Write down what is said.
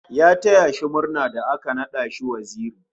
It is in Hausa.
Ya taya shi murna da aka nada shi waziri